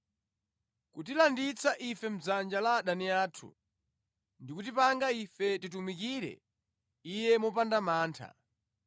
kutilanditsa ife mʼdzanja la adani athu, ndi kutipanga ife timutumikire Iye mopanda mantha,